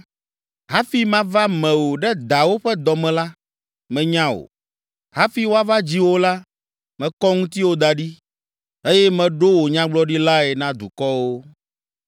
“Hafi mava me wò ɖe dawò ƒe dɔ me la, menya wò; hafi woava dzi wò la, mekɔ ŋutiwò da ɖi eye meɖo wò Nyagblɔɖilae na dukɔwo.”